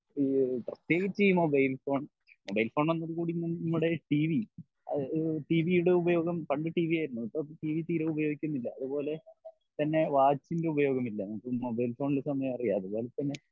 ഈ പ്രത്യേകിച്ച് ഈ മൊബൈൽ ഫോൺ മൊബൈൽ ഫോൺ വന്നതോടെ കൂടി നമ്മുടെ ടീവി എഹ് ടീവിയുട ഉപയോഗം പണ്ട് ടീവി ആയിരുന്നു ഇപ്പൊ ടീവി തീരെ ഉപയോഗിക്കുന്നില്ല അതുപോലെ തന്നെ വാച്ചിൻ്റെ ഉപയോഗം ഇല്ല നമുക്ക് മൊബൈൽ ഫോണിൽ സമയം അറിയാലോ അതേപോലെതന്നെ